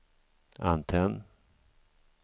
antenn